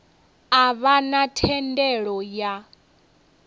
a vha na thendelo ya